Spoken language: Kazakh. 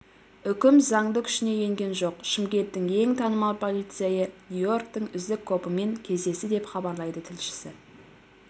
үкім заңды күшіне енген жоқ шымкенттің ең танымал полицейі нью-йорктің үздік копымен кездесті деп хабарлайды тілшісі